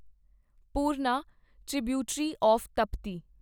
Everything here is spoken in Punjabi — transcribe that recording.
Purna tributary of Tapti